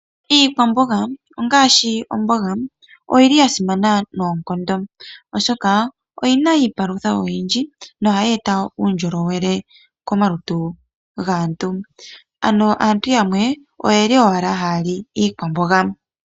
Iikwambonga ongashi ombonga, oyili yasimana nonkondo oshoka oyina iipalutha oyindji nohayeta uundjolowele komaluntu ngaantu, ano aantu yamwe oyeli owala hali iikwambonga.